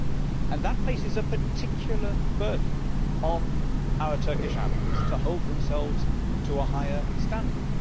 That places a particular burden on our Turkish allies to hold themselves to a higher standard.